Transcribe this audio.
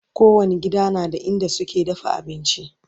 kowani gida na da inda suke dafa abinci